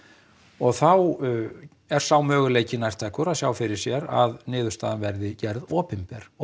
og þá er sá möguleiki nærtækur að sjá fyrir sér að niðurstaðan verði gerð opinber og